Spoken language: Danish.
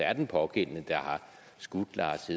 er den pågældende der har skudt lars